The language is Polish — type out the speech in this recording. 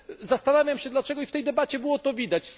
Zastanawiam się, dlaczego w tej debacie było to widać.